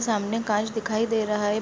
सामने काँच दिखाई दे रहा है।